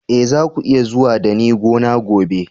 Eh, za ku iya zuwa da ni gona gobe.